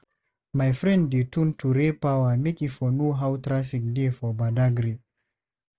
My friend dey tune to Raypower make e for know how traffic dey for Badagry.